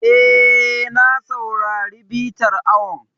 E, na saurari bitar awon.